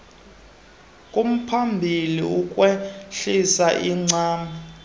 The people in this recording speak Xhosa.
kumphambili ukwehlisa incam